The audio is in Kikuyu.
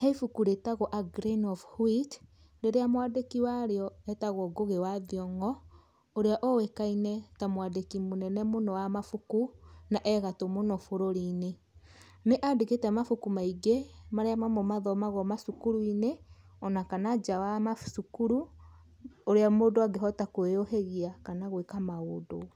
He ibuku rĩtagwo a Grain Of Wheat rĩrĩa mwandĩki warĩo etagwo Ngugĩ wa Thiong'o ũrĩa ũĩkaine ta mwandĩki mũnene mũno wa mabuku naegatũ bũrũri-inĩ ,nĩ andĩkĩte mabuku maingĩ marĩa mamo mathomagwo macukuru-inĩ ona kana nja wa macukuru ũrĩa mũndũ angĩhota kũĩyũhĩgia kana gwĩka maũndũ.